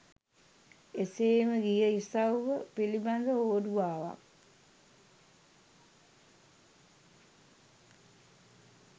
එසේම ගිය ඉසව්ව පිළිබඳ හෝඩුවාවක්